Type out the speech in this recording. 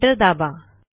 enter दाबा